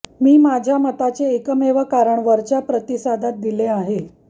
मी माझ्या मताचे एकमेव कारण वरच्या प्रतिसादात दिले आहे